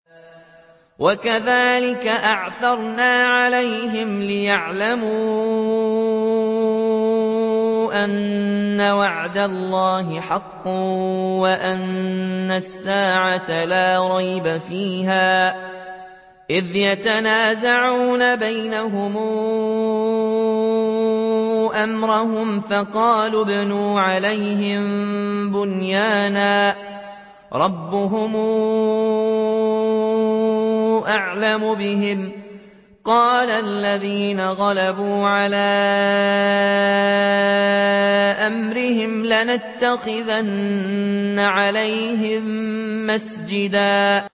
وَكَذَٰلِكَ أَعْثَرْنَا عَلَيْهِمْ لِيَعْلَمُوا أَنَّ وَعْدَ اللَّهِ حَقٌّ وَأَنَّ السَّاعَةَ لَا رَيْبَ فِيهَا إِذْ يَتَنَازَعُونَ بَيْنَهُمْ أَمْرَهُمْ ۖ فَقَالُوا ابْنُوا عَلَيْهِم بُنْيَانًا ۖ رَّبُّهُمْ أَعْلَمُ بِهِمْ ۚ قَالَ الَّذِينَ غَلَبُوا عَلَىٰ أَمْرِهِمْ لَنَتَّخِذَنَّ عَلَيْهِم مَّسْجِدًا